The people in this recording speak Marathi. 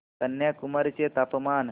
कन्याकुमारी चे तापमान